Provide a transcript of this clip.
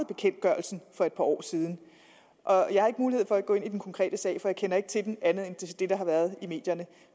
bekendtgørelsen for et par år siden jeg har ikke mulighed for at gå ind i den konkrete sag for jeg kender ikke til den andet end det der har været i medierne